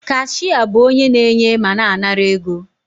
Kashịa bụ onye na-enye ma na-anara ego